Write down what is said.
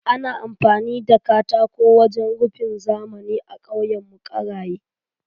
Ana amfani da katako wajen rufin zamani a ƙauyenmu Ƙaraye.